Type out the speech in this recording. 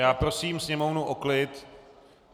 Já prosím sněmovnu o klid.